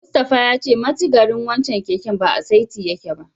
Mustapha ya ce mitigarin wancen keken ba a saiti yake ba.